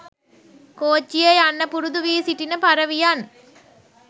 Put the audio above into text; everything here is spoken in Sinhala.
කෝච්චියේ යන්න පුරුදු වී සිටින පරවියන්.